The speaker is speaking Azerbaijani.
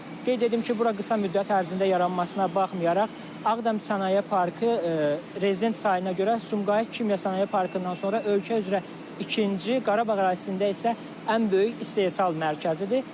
Qeyd edim ki, bura qısa müddət ərzində yaranmasına baxmayaraq, Ağdam Sənaye Parkı rezident sayına görə Sumqayıt Kimya Sənaye Parkından sonra ölkə üzrə ikinci, Qarabağ ərazisində isə ən böyük istehsal mərkəzidir.